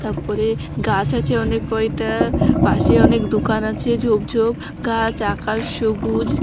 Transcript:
তারপরে গাছ আছে অনেক কয়টা পাশে অনেক দোকান আছে ঝোপ ঝোপ গাছ আকাশ সবুজ ।